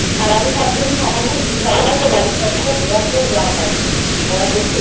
তুই গোয়ায় গেছিস?